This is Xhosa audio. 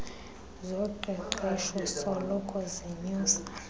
zoqeqeshpo soloko zinyusa